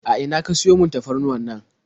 A ina ka siyo man tafarnuwannan?